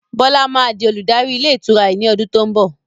Bọlá máa di olùdarí ilé ìtura yìí ni ọdún to ń bọ̀.